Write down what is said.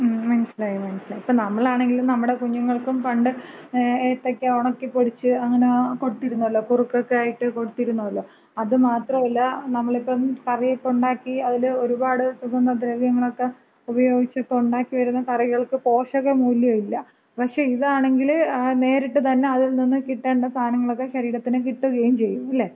ങ്ങും, മനസ്സിലായി മനസ്സിലായി. ഇപ്പോ നമ്മളാണെങ്കിലും നമ്മടെ കുഞ്ഞുങ്ങൾക്കും പണ്ട് ഏത്തക്ക ഉണക്കിപ്പൊടിച്ച് അങ്ങന കൊടുത്തിരുന്നല്ലോ? കുറുക്കൊക്കെയായിട്ട് കൊടുത്തിരുന്നല്ലോ. അത് മാത്രല്ല നമ്മളിപ്പം കറിയൊക്ക ഉണ്ടാക്കി, അതില് ഒരുപാട് സുഗന്ധദ്രവ്യങ്ങളക്ക ഉപയോഗിച്ചക്ക ഒണ്ടാക്കിവരുന്ന കറികൾക്ക് പോഷക മൂല്യമില്ല. പക്ഷേ ഇതാണെങ്കില് നേരിട്ട് തന്ന അതിൽനിന്ന് കിട്ടേണ്ട സാധനങ്ങള് ഒക്കെ ശരീരത്തിന് കിട്ടുകയും ചെയ്യും. ഇല്ലേ?